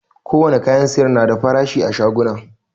Ko wane kayan sayar na da farashi a shaguna